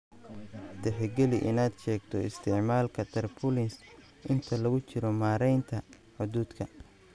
Tixgeli inaad sheegto isticmaalka Tarpaulins inta lagu jiro maaraynta hadhuudhka…